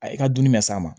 A y'i ka dumuni mɛ s'a ma